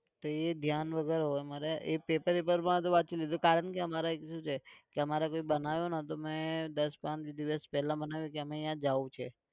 તો એ ધ્યાન વગર હોય મને એ paper વેપરમાં તો વાંચી લીધું કારણ કે અમારે એક શું છે કે અમારે કોઈ બનાવ્યોને તો મેં દસ પાંચ દિવસ પહેલા મને કે અમે અહીંયા જાઉં છે.